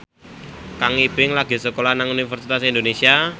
Kang Ibing lagi sekolah nang Universitas Indonesia